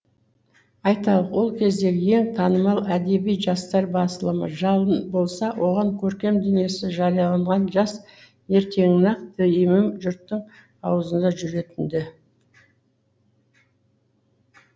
айталық сол кездегі ең танымал әдеби жастар басылымы жалын болса оған көркем дүниесі жарияланған жас ертеңіне ақ дүиім жұрттың аузында жүретін ді